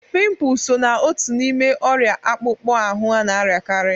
Pịmpul sọ na ọtu n'ime oria akpukpọ ahụ ana-ariakari.